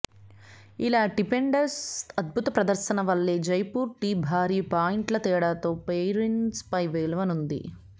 ఇలా డిపెండర్స్ అద్భుత ప్రదర్శన వల్లే జైపూర్ టీ భారీ పాయింట్ల తేడాతో పైరేట్స్ పై గెలవగలిగింది